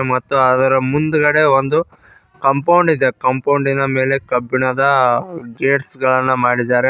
ಮತ್ತು ಅದರ ಮುಂದ್ಗಡೆ ಒಂದು ಕಾಂಪೌಂಡ್ ಇದೆ ಕಾಂಪೌಂಡ್ ಇನ ಮೇಲೆ ಕಬ್ಬಿಣದ ಗೇಟ್ಸ್ ಗಳನ್ನ ಮಾಡಿದ್ದಾರೆ.